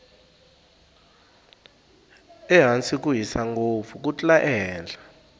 ehansi ku hisa ngopfu ku tlula ehenhla